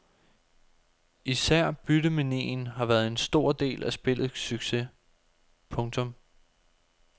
Især byttemanien har været en stor del af spillets succes. punktum